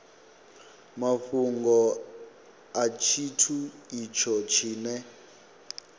mafhungo a tshithu itsho tshine